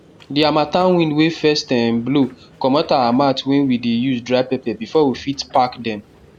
the harmattan wind wey first um blow commot our mat wey we dey use dry pepper before we fit pack them